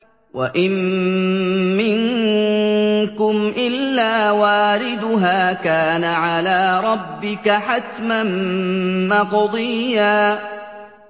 وَإِن مِّنكُمْ إِلَّا وَارِدُهَا ۚ كَانَ عَلَىٰ رَبِّكَ حَتْمًا مَّقْضِيًّا